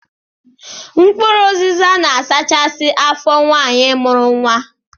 Mkpụrụ ụzịza na-asachasị afọ nwaanyi mụrụ nwa.